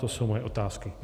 To jsou moje otázky.